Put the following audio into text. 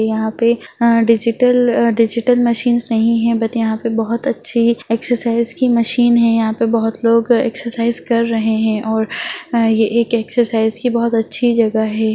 यहाँ पे अ डिजिटल डिजिटल मशीन नहीं हैं बट यहाँ पे बहुत अच्छी एक्सरसाइज की मशीन हैं यहाँ पे बहुत लोग एक्सरसाइज कर रहें हैं और ये एक एक्सरसाइज की बहुत अच्छी जगह है।